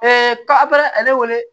ka ale wele